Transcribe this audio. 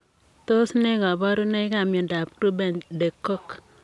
Tos ne kabarunoik ap miondoop Grubben de Cock ?